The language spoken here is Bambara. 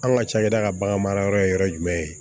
An ka cakɛda ka bagan mara yɔrɔ ye yɔrɔ jumɛn ye